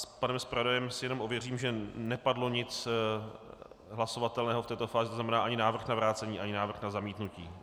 S panem zpravodajem si jenom ověřím, že nepadlo nic hlasovatelného v této fázi, to znamená ani návrh na vrácení, ani návrh na zamítnutí.